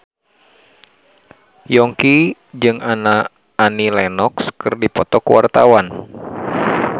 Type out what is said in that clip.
Yongki jeung Annie Lenox keur dipoto ku wartawan